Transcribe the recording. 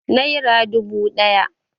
Nera dubu ɗaya